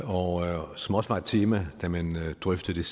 og som også var et tema da man drøftede